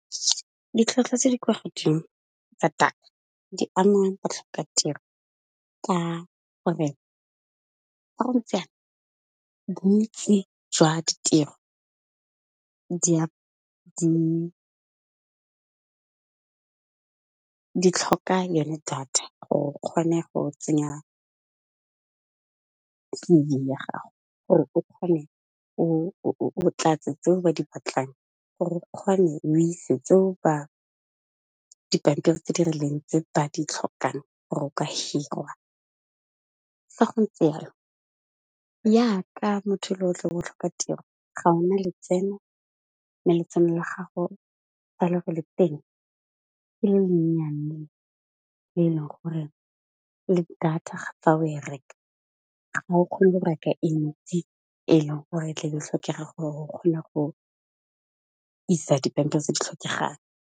Ditlhwatlhwa tse di kwa godimo tsa data di ama batlhokatiro ka gore ga go ntse jana bontsi jwa ditiro di tlhoka yone data gore o kgone go tsenya C_V ya gago gore o tlatse tseo ba di batlang, gore o ise dipampiri tse di rileng tse ba di tlhokang gore o ka hirwa. Fa go ntse yalo ya ka motho yo e le go re o tlhoka tiro ga ona letseno, mo letsenong la gago fa le go le teng ke le le nyane le e leng gore le data fa o e reka ga o kgone go reka e ntsi e le gore tla be e tlhokega gore o kgona go isa dipampiri tse di tlhokegang.